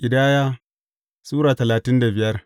Ƙidaya Sura talatin da biyar